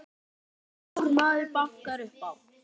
Blár maður bankar upp á